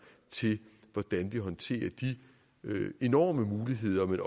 til hvordan vi håndterer de enorme muligheder men